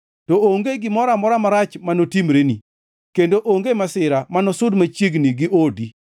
to onge gimoro amora marach ma notimreni, kendo onge masira ma nosud machiegni gi odi.